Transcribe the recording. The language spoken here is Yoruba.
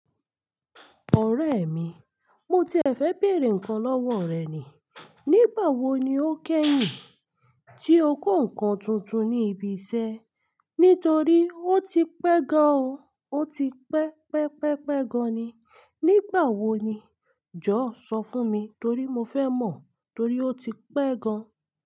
Ọ̀rẹ́ mi, mo ti fẹ́ bèèrè ǹnkan lọ́wọ́ rẹ ni. Nígbà wo ni o kẹ́yìn tí o kó ǹnkan tuntun ní ibi iṣẹ́? Nítorí ó ti pẹ́ gan an o. Ó ti pẹ́, pẹ́, pẹ́, pẹ́ gan an ni. Nígbà wo ni? Jọ̀wọ́ sọ fún mi torí mo fẹ́ mọ̀ torí ó ti pẹ́ gan an.